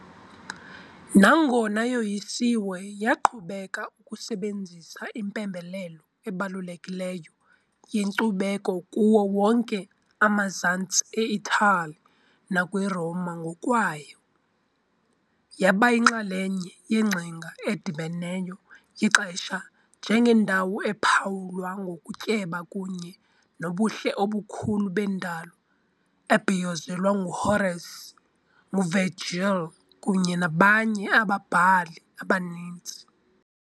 Nangona yoyisiwe, yaqhubeka ukusebenzisa impembelelo ebalulekileyo yenkcubeko kuwo wonke amazantsi eItali nakwiRoma ngokwayo, yaba yinxalenye yengcinga edibeneyo ixesha njengendawo ephawulwa ngokutyeba kunye nobuhle obukhulu bendalo, ebhiyozelwa nguHorace, nguVirgil kunye nabanye ababhali abaninzi.